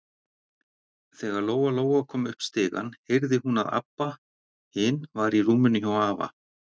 Þegar Lóa-Lóa kom upp stigann heyrði hún að Abba hin var í rúminu hjá afa.